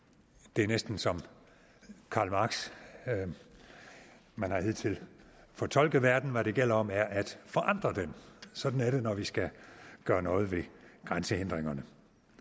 det er næsten som karl marx man har hidtil fortolket verden hvad det gælder om er at forandre den sådan er det når vi skal gøre noget ved grænsehindringerne